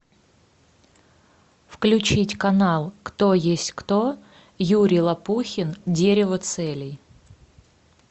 включить канал кто есть кто юрий лопухин дерево целей